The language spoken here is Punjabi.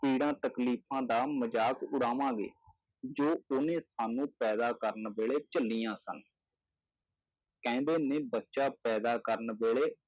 ਪੀੜ੍ਹਾਂ ਤਕਲੀਫ਼ਾਂ ਦਾ ਮਜ਼ਾਕ ਉਡਾਵਾਂਗੇ, ਜੋ ਉਹਨੇ ਸਾਨੂੰ ਪੈਦਾ ਕਰਨ ਵੇਲੇ ਝੱਲੀਆਂ ਸਨ ਕਹਿੰਦੇ ਨੇ ਬੱਚਾ ਪੈਦਾ ਕਰਨ ਵੇਲੇ